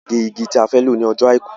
A fẹ́ fi jìgá gé igi ti a fẹ́ lọ ní ọjọ́ àìkú